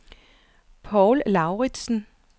Poul Lauritzen